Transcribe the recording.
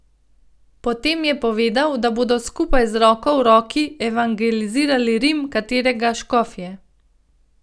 Potem je povedal, da bodo skupaj, z roko v roki, evangelizirali Rim, katerega škof je.